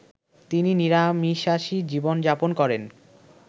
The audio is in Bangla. তিনি নিরামিশাষী জীবনযাপন করেন